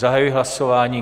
Zahajuji hlasování.